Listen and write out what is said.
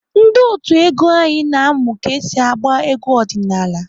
Ndị otu egwu anyị na-amụ ka esi agba egwu ọdịnaala.